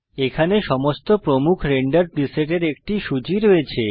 এখানে সমস্ত প্রমুখ রেন্ডার প্রিসেটের একটি সূচী রয়েছে